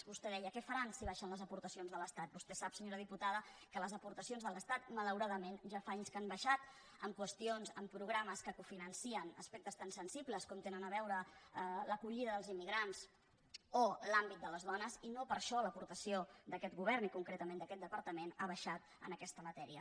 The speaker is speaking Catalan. vostè deia què faran si baixen les aportacions de l’estat vostè sap senyora diputada que les aportacions de l’estat malauradament ja fa anys que han baixat en qüestions en programes que cofinancen aspectes tan sensibles com tenen a veure amb l’acollida dels immigrants o l’àmbit de les dones i no per això l’aportació d’aquest govern i concretament d’aquest departament ha baixat en aquesta matèria